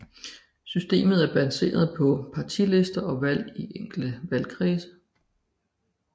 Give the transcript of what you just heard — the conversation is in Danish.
Systemet er baseret på partilister og valg i enkelte valgkredse